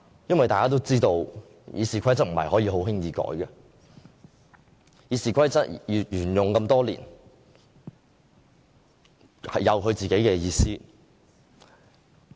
因為大家都知道《議事規則》不可以輕易修改，《議事規則》沿用多年，有它自己的意思。